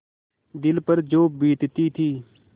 दिल पर जो बीतती थी